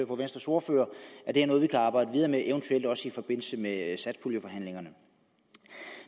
og venstres ordfører at det er noget vi kan arbejde videre med eventuelt i forbindelse med satspuljeforhandlingerne